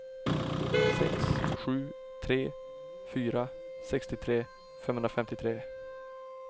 sex sju tre fyra sextiotre femhundrafemtiotre